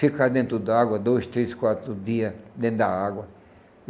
Ficar dentro d'água dois, três, quatro dias dentro da água.